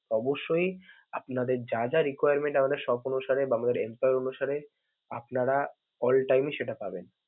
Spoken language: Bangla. অবশ্যই আপনাদের যা যা requirement আমাদের shop অনুসারে বা আমাদের empolyee অনুসারে আপনারা altime ই সেটা পাবেন.